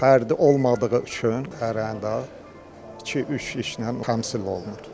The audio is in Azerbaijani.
Fərdi olmadığı üçün hərə də iki-üç işlə təmsil olunur.